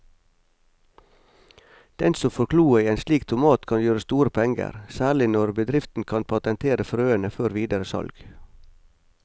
Den som får kloa i en slik tomat kan gjøre store penger, særlig når bedriften kan patentere frøene før videre salg.